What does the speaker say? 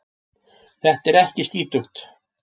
Þetta er ekki skítugt.